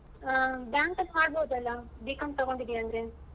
ಹಾ bank ಅಲ್ಲಿ ಮಾಡ್ಬಹುದಲ್ಲ B.Com ತಗೊಂಡಿದ್ದೆ ಅಂದ್ರೆ.